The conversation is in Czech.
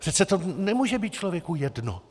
Přece to nemůže být člověku jedno.